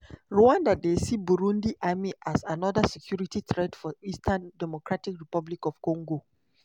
rwanda dey see burundi army as anoda security threat for eastern dr congo.